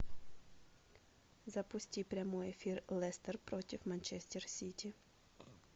запусти прямой эфир лестер против манчестер сити